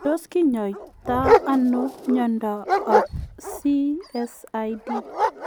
Tos kinyaitaa anoo miondoop CSID ?